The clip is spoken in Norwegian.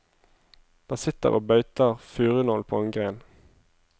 Den sitter og beiter furunål på en gren.